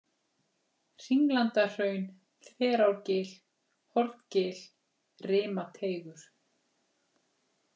Hringlandahraun, Þverárgil, Horngil, Rimateigur